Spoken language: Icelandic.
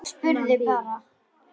Ég spurði bara.